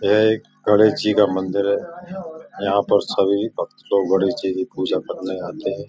यह एक गणेश जी का मंदिर है। यहाँ पर सभी भक्त लोग गणेश जी की पूजा करने आते हैं।